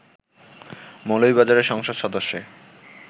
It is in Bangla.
মৌলভীবাজারের সংসদ সদস্যে